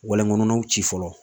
Walen kɔnɔnaw ci fɔlɔ